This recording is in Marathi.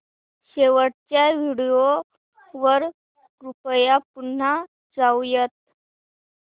शेवटच्या व्हिडिओ वर कृपया पुन्हा जाऊयात